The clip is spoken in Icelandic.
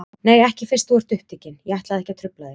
Nei, ekki fyrst þú ert upptekinn, ég ætlaði ekki að trufla þig.